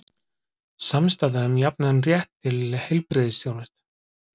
Samstaða um jafnan rétt til heilbrigðisþjónustu